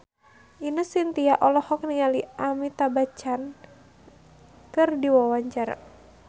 Ine Shintya olohok ningali Amitabh Bachchan keur diwawancara